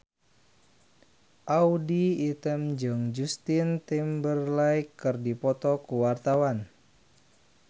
Audy Item jeung Justin Timberlake keur dipoto ku wartawan